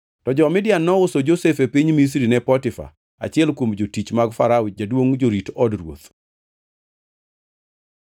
To jo-Midian nouso Josef e piny Misri ne Potifa, achiel kuom jotich mag Farao, jaduongʼ jorit od ruoth.